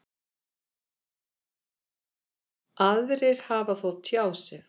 Aðrir hafi þó tjáð sig.